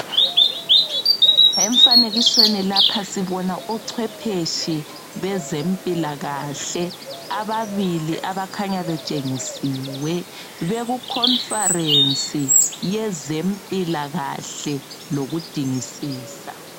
Emfanekisweni lapha sibona ochwepheshe bezempilakahle ababili abakhanya betshengisiwe bekukhomfarensi yezempilakahle lokudingisisa.